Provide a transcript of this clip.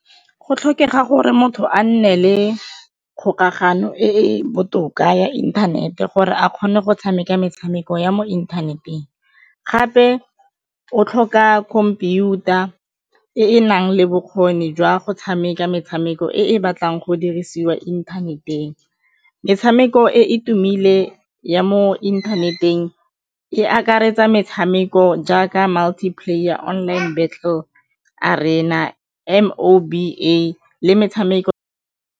Go tlhokega gore motho a nne le kgokagano e botoka ya inthanete gore a kgone go tshameka metshameko ya mo inthaneteng, gape o tlhoka computer e e nang le bokgoni jwa go tshameka metshameko e batlang go dirisiwa inthaneteng. Metshameko e e tumile ya mo inthaneteng e akaretsa metshameko jaaka Multi-player, online Battle Arena, M_O_B_A le metshameko.